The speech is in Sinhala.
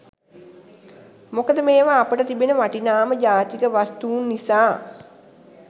මොකද මේවා අපට තිබෙන වටිනාම ජාතික වස්තුන් නිසා.